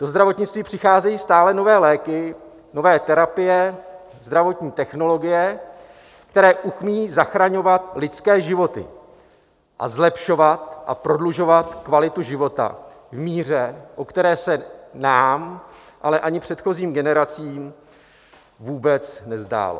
Do zdravotnictví přicházejí stále nové léky, nové terapie, zdravotní technologie, které umějí zachraňovat lidské životy a zlepšovat a prodlužovat kvalitu života v míře, o které se nám, ale ani předchozím generacím vůbec nezdálo.